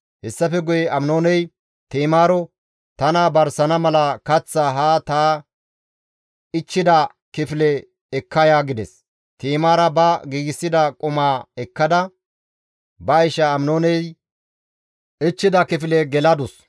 Hessafe guye Aminooney Ti7imaaro, «Tana barsana mala kaththaa haa ta ichchida kifile ekka ya» gides; Ti7imaara ba giigsida qumaa ekkada ba isha Aminooney ichchida kifile geladus.